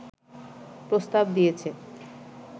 প্রস্তাব দিয়েছে